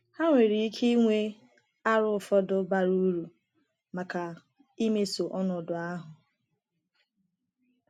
Ha nwere ike inwe aro ụfọdụ bara uru maka imeso ọnọdụ ahụ.